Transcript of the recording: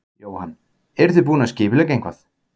Jóhann: Eruð þið búin að skipuleggja eitthvað?